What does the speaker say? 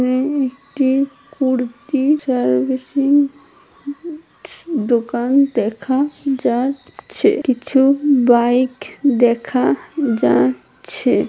একটি কুর্তি চার বেসি দোকান দেখা যা -চ্ছে-- কিছু বাইক দেখা যা --চ্ছে- ।